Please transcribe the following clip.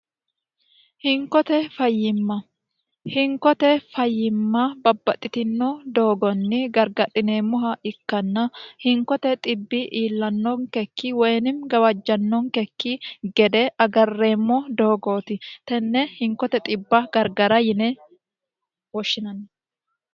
hinkote fayyimma hinkote fayyimma babbaxxitino doogonni gargadhineemmoha ikkanna hinkote dhibi iilanonkekki woyinim gawajjannonkekki gede agarreemmo doogooti tenne hinkote b0 gargara yine woshshinanni